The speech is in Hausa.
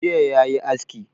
Jiya yayi aski